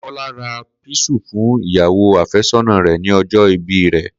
Kó̩lá ra písà fún ìyàwó àfé̩só̩nà rè̩ ní o̩jó̩ ìbí rè̩